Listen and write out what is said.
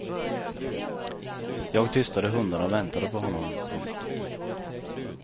Jag tystade hundarna och väntade på honom. punkt